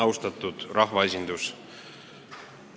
Austatud rahvaesindus!